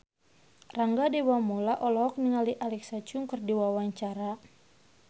Rangga Dewamoela olohok ningali Alexa Chung keur diwawancara